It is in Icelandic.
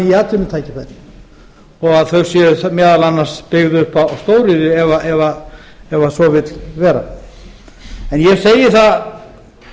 ný atvinnutækifæri og þau séu meðal annars byggð upp á stóriðju ef svo vill vera en ég segi það